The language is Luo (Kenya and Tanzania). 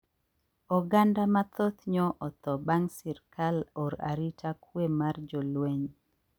Oganda mathoth nyo otho bang` sirkal or arita kwe mar jolweny